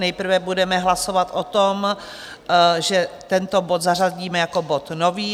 Nejprve budeme hlasovat o tom, že tento bod zařadíme jako bod nový.